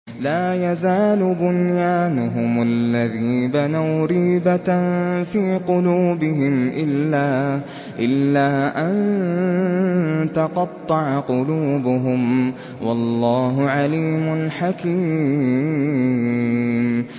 لَا يَزَالُ بُنْيَانُهُمُ الَّذِي بَنَوْا رِيبَةً فِي قُلُوبِهِمْ إِلَّا أَن تَقَطَّعَ قُلُوبُهُمْ ۗ وَاللَّهُ عَلِيمٌ حَكِيمٌ